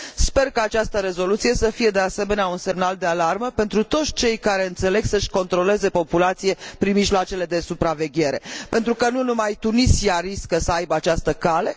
sper ca această rezoluție să fie, de asemenea, un semnal de alarmă pentru toți cei care înțeleg să își controleze populația prin mijloacele de supraveghere, pentru că nu numai Tunisia riscă să aibă această cale